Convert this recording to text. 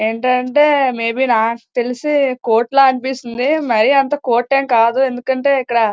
నాకు తెలిసి ఇది కోతుల ఉంది. నాకు తెలిసి కోటు ఆలా ఆలయతే.--